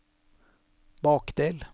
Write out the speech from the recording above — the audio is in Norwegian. bakdel